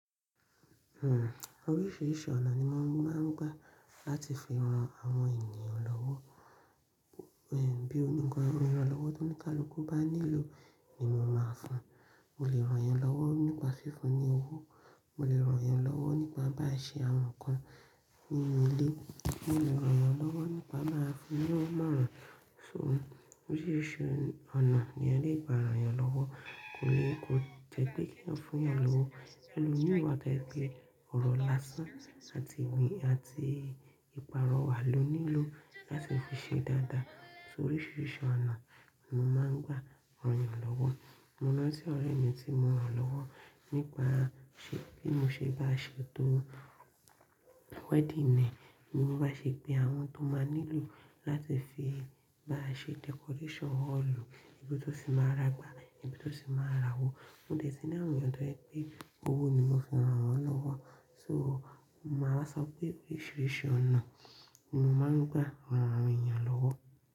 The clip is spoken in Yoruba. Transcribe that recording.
Oríṣiríṣi ọ̀nà ni mo máa ń gbà láti fi ran àwọn ènìyàn lọ́wọ́. Ẹ̀ bí i nǹkan ìran lọ́wọ́ tóníkálukú bá nílò ni mo máa fún. Mo lè rán yàn lọ́wọ́ nípa fífún ní owó, mo lè rán yàn lọ́wọ́ nípa bá ṣe àwọn nǹkan nínú ilé, mo lè rán yàn lọ́wọ́ nípa máa fún ni ó mọ̀ran. So oríṣiríṣi ọ̀nà ni'yan lè gbà rán yàn lọ́wọ́. Kò ní kò jẹ́ pé kí èèyan fún'yàn lọ́wọ́, ẹlomií wà to je pe ọ̀rọ̀ lásán àti ìgbín àti ìpààrọ̀wà ló nílò láti fi ṣe dáadáa. So oríṣiríṣi ọ̀nà ni mo máa ń gbà rán yàn lọ́wọ́. Mo lọ sí ọ̀rẹ́ mi tí mo rán lọ́wọ́ nígbà tí mo ṣe bá ṣètò wedding ẹ, emií mo bá ṣeto àwọn nǹkan tó máa nílò láti fi bá ṣe decoration hall, ibi tó sì máa ra gbá, ibi tó sì máa ra owó. Mo dè tí ní àwòn èèyàn tó jẹ pé owó ni mo fi rán wọn lọ́wọ́. So mo máa sọ pé oríṣiríṣi ọ̀nà ni mo máa ń gbà rán àwọn ènìyàn lọ́wọ́.